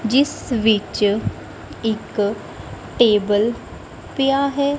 ਜਿਸ ਵਿੱਚ ਇੱਕ ਟੇਬਲ ਪਿਆ ਹੈ।